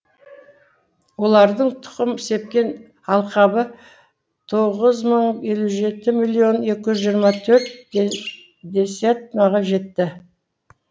олардың тұқым сепкен алқабы тоғыз мың елу жеті миллион екі жүз жиырма төрт жетті